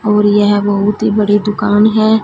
और यह बहुत ही बड़ी दुकान है।